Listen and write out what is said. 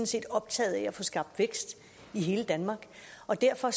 set optaget af at få skabt vækst i hele danmark og derfor